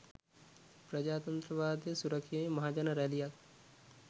ප්‍රජාතන්ත්‍රවාදය සුරැකීමේ මහජන රැළියක්